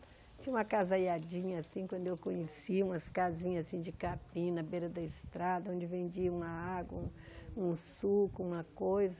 Tinha uma casa aiadinha assim, quando eu conheci, umas casinhas assim de capim na beira da estrada, onde vendiam uma água, um suco, uma coisa.